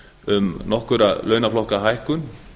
um nokkurra launaflokka hækkun